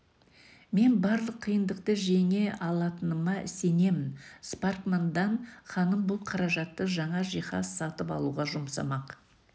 мен барлық қиындықты жеңе алатыныма сенемін спаркман данн ханым бұл қаражатты жаңа жиһаз сатып алуға жұмсамақ